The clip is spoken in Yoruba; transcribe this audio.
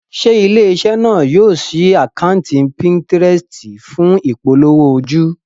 Ṣé ilé-iṣẹ́ náà yóò ṣí àkátì Pinterest fún ìpolówó ojú?